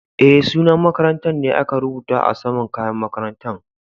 Eh, sunan makarantan ne aka rubuta a sama'n kayan makarantan.